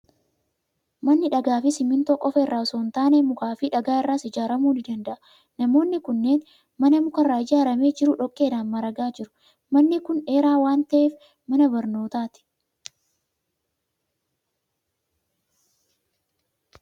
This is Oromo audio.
Manni dhagaa fi simmintoo qofaa irraa osoo hin taane, mukaa fi dhagaa irraas ijaaramuu ni danda'a. Namoonni kunneen mana muka irraa ijaaramee jiru dhoqqeedhaan maragaa jiru. Manni kun dheeraa waan ta'eef, mana barnootaati.